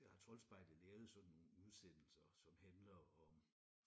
Der har Troldspejlet lavet sådan nogle udsendelser som handler om